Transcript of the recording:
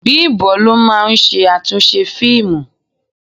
Bimbo ló máa ń ṣe àtúnṣe fíìmù.